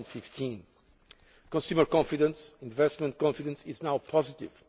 2015. Consumer confidence and investment confidence is now positive.